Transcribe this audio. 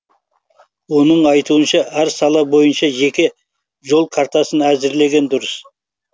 оның айтуынша әр сала бойынша жеке жол картасын әзірлеген дұрыс